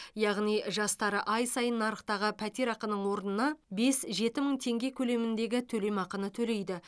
яғни жастары ай сайын нарықтағы пәтерақының орнына бес жеті мың теңге көлеміндегі төлемақыны төлейді